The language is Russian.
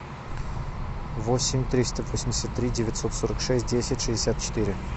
восемь триста восемьдесят три девятьсот сорок шесть десять шестьдесят четыре